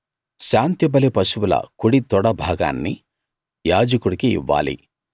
శాంతిబలి పశువుల కుడి తొడ భాగాన్ని యాజకుడికి ఇవ్వాలి